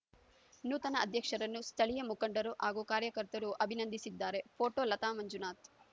ನೂತನ ಅಧ್ಯಕ್ಷರನ್ನು ಸ್ಥಳೀಯ ಮುಖಂಡರು ಹಾಗೂ ಕಾರ್ಯಕರ್ತರು ಅಭಿನಂದಿಸಿದ್ದಾರೆ ಪೋಟೋ ಲತಾ ಮಂಜುನಾಥ್‌